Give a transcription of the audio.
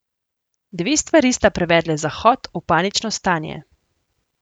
Dve stvari sta privedle Zahod v panično stanje.